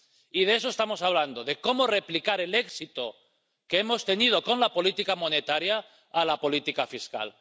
Y de eso estamos hablando de cómo replicar el éxito que hemos tenido con la política monetaria en la política fiscal.